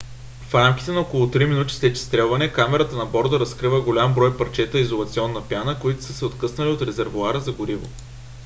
в рамките на около три минути след изстрелване камерата на борда разкрива голям брой парчета изолационна пяна които са се откъснали от резервоара за гориво